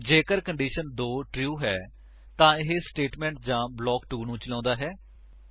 ਜੇਕਰ condition 2 true ਹੈ ਤਾਂ ਇਹ ਸਟੇਟਮੇਂਟ ਜਾਂ ਬਲਾਕ 2 ਨੂੰ ਚਾਲੋਉਂਦਾ ਹੈ